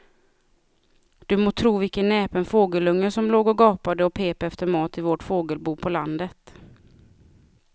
Du må tro vilken näpen fågelunge som låg och gapade och pep efter mat i vårt fågelbo på landet.